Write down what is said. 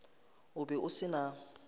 o be o se na